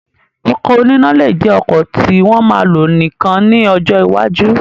Ọkọ̀ oníná lè jẹ ọkọ̀ tí wọ́n ma lò nìkan ní ọjọ́ iwájú